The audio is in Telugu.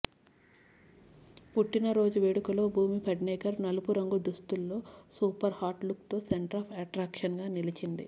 పుట్టినరోజు వేడుకలో భూమి పడ్నేకర్ నలుపు రంగు దుస్తుల్లో సూపర్ హాట్ లుక్తో సెంట్రాఫ్ అట్రాక్షన్గా నిలిచింది